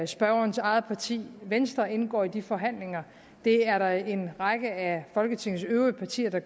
spørgerens eget parti venstre indgår i de forhandlinger og det er der en række af folketingets øvrige partier der